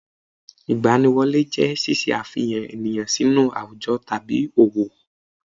Ìgbaniwọlé jẹ́ ṣíṣe àfihàn ènìyàn sínú àwùjọ tàbí òwò